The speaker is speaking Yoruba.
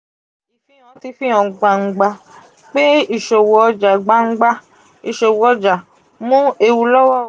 ifihan ti o han gbangba pe iṣowo ọja gbangba iṣowo ọja mu ewu lowo um